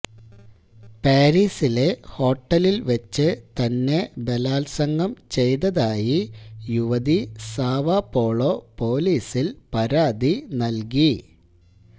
പാരീസിലെ ഹോട്ടലിൽ വെച്ച് തന്നെ ബലാത്സംഗം ചെയ്തതായി യുവതി സാവോപോളോ പോലീസിൽ പരാതി നൽകി